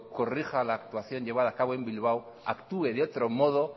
corrija la actuación llevada a cabo en bilbao actúe de otro modo